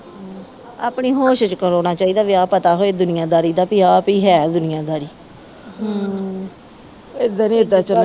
ਆਪਣੀ ਹੋਸ਼ ਚ ਕਰਾਉਣਾ ਚਾਹੀਦਾ ਵਿਆਹ ਪਤਾ ਹੋਏ ਦੁਨੀਆਦਾਰੀ ਦਾ ਪੀ ਆ ਪੀ ਹੈ ਦੁਨੀਆ ਦਾਰੀ ਏਦਾਂ ਨਹੀਂ ਏਦਾਂ ਚਲਣਾ